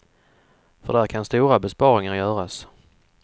För där kan stora besparingar göras.